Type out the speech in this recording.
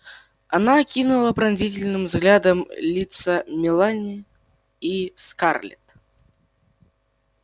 она окинула пронзительным взглядом лица мелани и скарлетт